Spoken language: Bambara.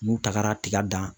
N'u tagara tiga dan